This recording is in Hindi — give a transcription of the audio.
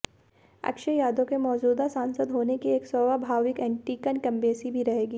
अक्षय यादव के मौजूदा सांसद होने के एक स्वाभाविक एंटीइनकंबेंसी भी रहेगी